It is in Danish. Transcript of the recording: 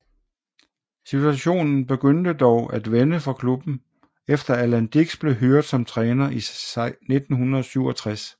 Situationen begyndte dog at vende for klubben efter Alan Dicks blev hyret som træner i 1967